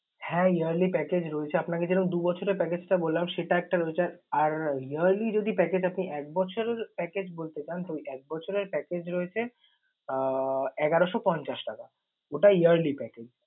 হ্যাঁ yearly package রয়েছে। আপনাকে যেরকম দু বছরের package টা বললাম সেটা একটা রয়েছে আর yearly যদি package আপনি এক বছরের package বলতে পারেন তো ওই এক বছরের package রয়েছে আহ এগারোশ পঞ্চাশ টাকা, ওটা yearly package ।